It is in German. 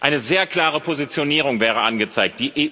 Eine sehr klare Positionierung wäre angezeigt.